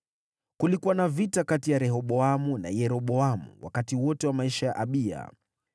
Kulikuwa na vita kati ya Rehoboamu na Yeroboamu wakati wote wa maisha ya Abiya.